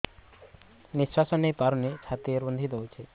ନିଶ୍ୱାସ ନେଇପାରୁନି ଛାତି ରୁନ୍ଧି ଦଉଛି